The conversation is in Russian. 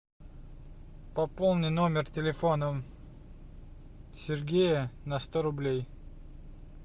пополни номер телефона сергея на сто рублей